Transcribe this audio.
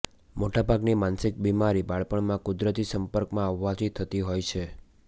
મોટાભાગની માનસિક બીમારી બાળપણમાં કુદરતી સંપર્કમાં આવવાથી થતી હોય છે